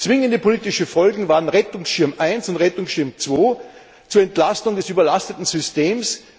Zwingende politische Folgen waren Rettungsschirm 1 und Rettungsschirm 2 zur Entlastung des überlasteten Systems.